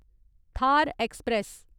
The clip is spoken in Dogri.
थार ऐक्सप्रैस